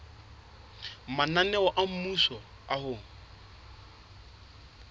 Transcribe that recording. mananeo a mmuso a ho